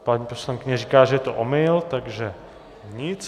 Paní poslankyně říká, že je to omyl, takže nic.